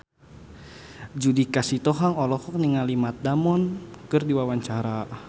Judika Sitohang olohok ningali Matt Damon keur diwawancara